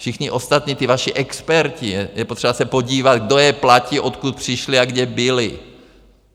Všichni ostatní, ti vaši experti, je potřeba se podívat, kdo je platí, odkud přišli a kde byli.